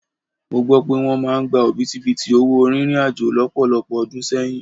Mó gbọ́ pé wọ́n máa ń gbé òbítíbitì owó rìnrìn àjò lọ́pọ̀lọpọ̀ ọdún sẹ́yìn.